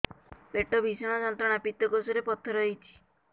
ପେଟ ଭୀଷଣ ଯନ୍ତ୍ରଣା ପିତକୋଷ ରେ ପଥର ହେଇଚି